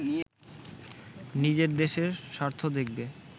নিজের দেশের স্বার্থ দেখবে